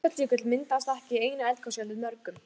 Snæfellsjökull myndaðist ekki í einu eldgosi heldur mörgum.